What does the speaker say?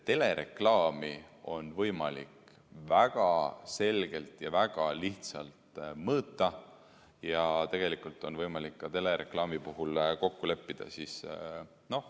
Telereklaami on võimalik väga selgelt ja väga lihtsalt mõõta ja tegelikult on võimalik ka telereklaami puhul kokku leppida.